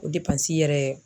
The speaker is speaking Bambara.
O yɛrɛ.